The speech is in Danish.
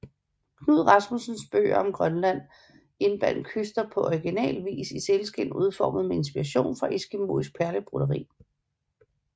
Knud Rasmussens bøger om Grønland indbandt Kyster på original vis i sælskind udformet med inspiration fra eskimoisk perlebroderi